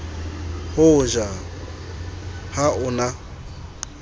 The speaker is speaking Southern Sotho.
ho ja ha o na